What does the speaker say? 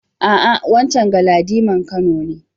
A'a, wancen Galadiman Kano ne.